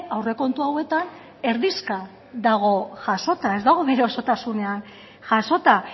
aurrekontu hauetan erdizka dago jasota ez dago bere osotasunean jasota